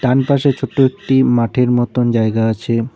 ডান পাশে ছোট্ট একটি মাঠের মতন জায়গা আছে।